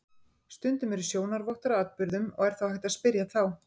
Stundum eru sjónarvottar að atburðum og er þá hægt að spyrja þá.